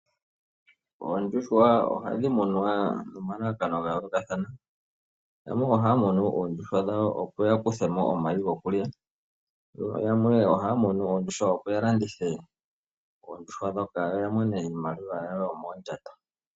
Oondjuhwa oha dhi munwa nomalalakano ga yookathana aantu oha ya munu oondjuhwa dhawo opo ya kuthemo omayi gokulya yamwe oha ya munu opo ya landithe oondjuhwa ndhoka ya mone iimaliwa yawo yomoondjato.